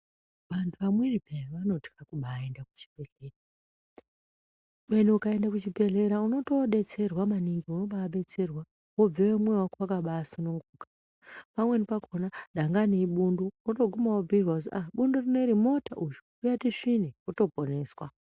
Vantu vamweni peya vanotya kubaaende kuchibhehlera. Kubeni ukaenda kuchibhehleya unotodetserwa maningi, wombaadetserwa wobveyo mwoyo wako wakabaasununguka. Pamweni pakona dangani ibundu, wotoguma wobhuirwa kuti bundu rineri imota uyu, uya tisvine, wotoponeswa.